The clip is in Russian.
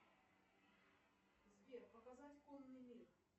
сбер показать конный мир